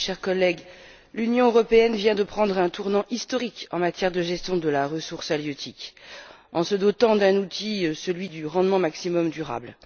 chers collègues, l'Union européenne vient de prendre un tournant historique en matière de gestion de la ressource halieutique, en se dotant d'un outil le rendement maximum durable.